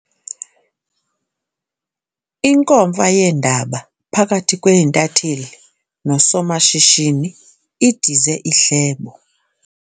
Inkomfa yeendaba phakathi kweentatheli nosomashishini idize ihlebo.